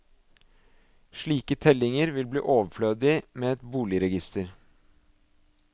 Slike tellinger vil bli overflødige med et boligregister.